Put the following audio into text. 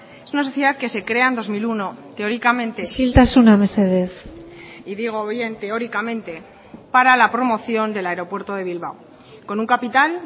es una sociedad que se crea en dos mil uno teóricamente isiltasuna mesedez y digo bien teóricamente para la promoción del aeropuerto de bilbao con un capital